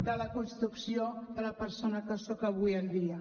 de la construcció de la persona que soc avui en dia